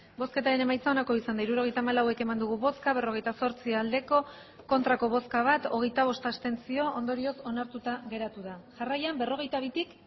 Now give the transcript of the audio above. hirurogeita hamalau eman dugu bozka berrogeita zortzi bai bat ez hogeita bost abstentzio ondorioz onartuta geratu da jarraian berrogeita bitik